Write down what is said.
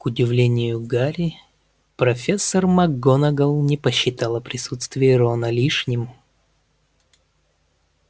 к удивлению гарри профессор макгонагалл не посчитала присутствие рона лишним